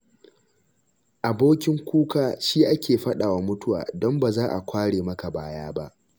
Abokin kuka shi ake faɗawa mutuwa, don ba za kware maka baya ba.